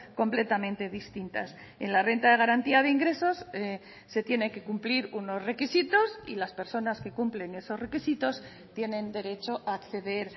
completamente distintas en la renta de garantía de ingresos se tiene que cumplir unos requisitos y las personas que cumplen esos requisitos tienen derecho a acceder